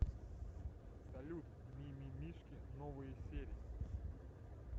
салют ми ми мишки новые серии